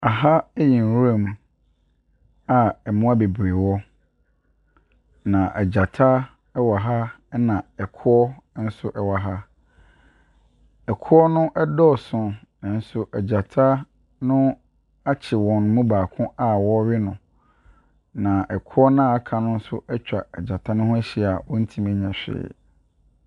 Aha ɛyɛ nwura mu a mmoa bebree wɔ, na ɛgyata ɛwɔ ha ɛna ɛkoɔ ɛnso ɛwɔ ha. Ɛkoɔ no ɛdɔɔso nanso ɛgyata no akye wɔn mu baako a ɔrewe no. Na ɛkoɔ noa aka no ɛtwa gyata no ho ɛhyia a wɔntumi ɛnyɛ whee.